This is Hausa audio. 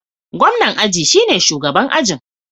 Gwamnan aji shine shugaban ajin.